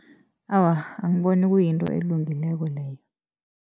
Awa, angiboni kuyinto elungileko leyo.